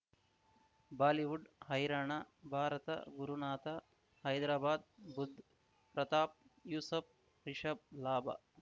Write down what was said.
Bollywood ಹೈರಾಣ ಭಾರತ ಗುರುನಾಥ ಹೈದರಾಬಾದ್ ಬುಧ್ ಪ್ರತಾಪ್ ಯೂಸಫ್ ರಿಷಬ್ ಲಾಭ